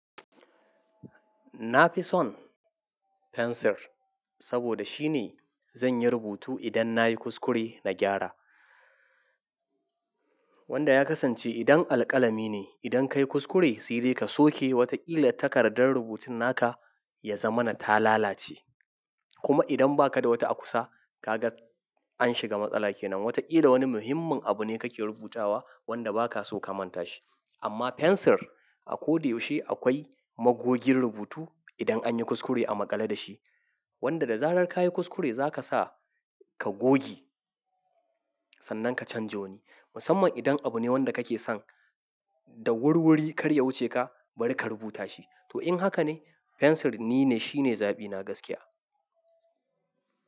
Na fi son fensir saboda shine zan yi rubutu idan na yi kuskure na gyara. Wanda ya kasance idan alƙalami ne, idan ka yi kuskure, sai dai ka soke wataƙila takardar rubutun naka ya zama na ta lalace. Kuma idan ba ka da wata a kusa, ka ga an shiga matsala kenan. Wataƙila wani muhimmin abu ne kake rubutawa wanda ba ka so ka manta shi. Amma fensir a ko da yaushe akwai magogin rubutu idan an yi kuskure a maƙale da shi. Wanda da zarar ka yi kuskure za ka sa ka goge sannan ka canja wani. Musamman idan abu ne wanda kake son da wurwuri kar ya wuce ka bari ka rubuta shi. To in haka ne fensir ni ne shine zaɓi na gaskiya.